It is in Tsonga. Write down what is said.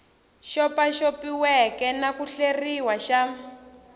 xopaxopiweke na ku hleriwa xa